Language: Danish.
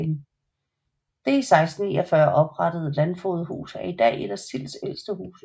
Det i 1649 oprettede landfogedhus er i dag et af Silds ældste huse